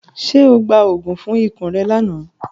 Ṣe o gba oogun fun ikun rẹ lana?